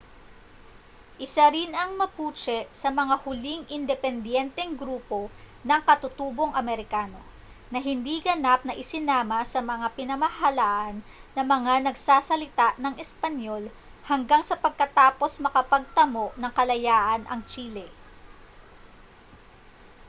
isa rin ang mapuche sa mga huling independiyenteng grupo ng katutubong amerikano na hindi ganap na isinama sa mga pinamahalaan ng mga nagsasalita ng espanyol hanggang sa pagkatapos makapagtamo ng kalayaan ang chile